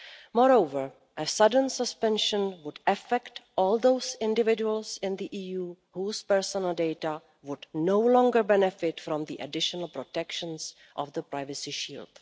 Moreover, a sudden suspension would affect all those individuals in the EU whose personal data would no longer benefit from the additional protections of the Privacy Shield.